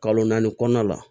Kalo naani kɔnɔna la